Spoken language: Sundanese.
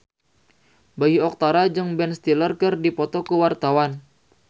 Bayu Octara jeung Ben Stiller keur dipoto ku wartawan